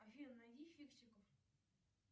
афина найди фиксиков